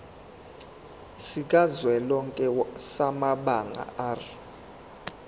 sikazwelonke samabanga r